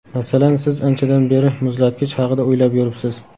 Masalan, siz anchadan beri muzlatgich haqida o‘ylab yuribsiz.